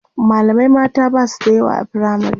mallamai mata Basu da yawa a firamare